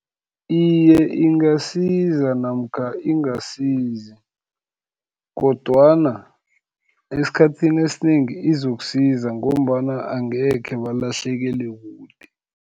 Iye, ingasiza namkha ingasizi, kodwana esikhathini esinengi izokusiza, ngombana angekhe balahlekele kude.